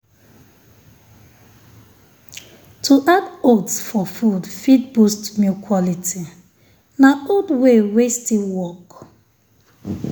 to add oats for food fit boost milk quality. na old way wey still work.